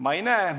Ma seda ei näe.